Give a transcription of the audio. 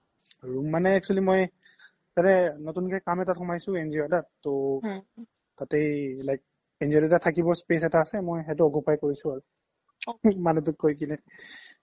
room মানে actually মই তাতে কাম এটাত সোমাছোNGO ত এটা তো তাতে like NGO এটা থাকিব space আছে সেইতো মই occupied কৰিছো মানে দুখ কৰি কিনে